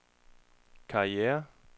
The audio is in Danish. karriere